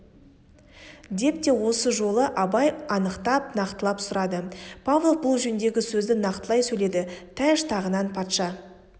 деп те осы жолы абай анықтап нақтылап сұрады павлов бұл жөндегі сөзді нақтылай сөйледі тәж-тағынан патша